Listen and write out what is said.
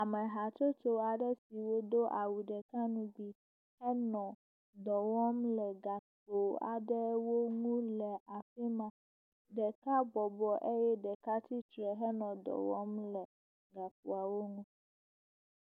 Ame hatsotso aɖe siwo do awu ɖeka ŋugbi enɔ dɔ wɔm le gakpo aɖewo ŋu le afi ma. Ɖeka bɔbɔ eye ɖeka tsitre henɔ dɔ wɔm le gakpoawo nu.